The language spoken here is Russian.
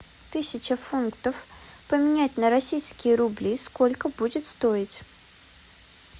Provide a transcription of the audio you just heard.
тысяча фунтов поменять на российские рубли сколько будет стоить